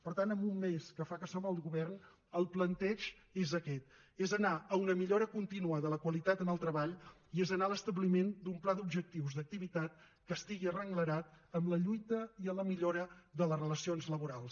per tant en un mes que fa que som al govern el planteig és aquest és anar a una millora continua de la qualitat en el treball i és anar a l’establiment d’un pla d’objectius d’activitat que estigui arrenglerat en la lluita i en la millora de les relacions laborals